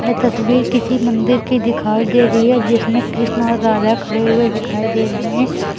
ये तस्वीर किसी मंदिर की दिखाई दे रही है जिसमें कृष्ण और राधा खड़े हुए दिखाई दे रहे हैं।